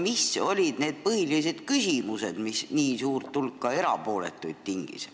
Mis olid need põhilised küsimused, mis tingisid nii suure erapooletute hulga?